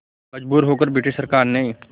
मजबूर होकर ब्रिटिश सरकार ने